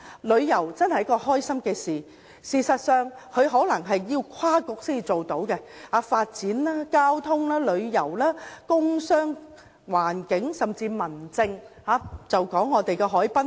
旅遊這開心的事情可能需要跨政策局合作，旅遊涉及發展、交通、工商、環境，甚至民政的範疇。